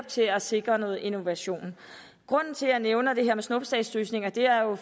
til at sikre noget innovation grunden til at jeg nævner det her med snuptagsløsninger er jo